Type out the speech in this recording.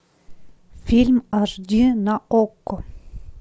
фильм аш ди на окко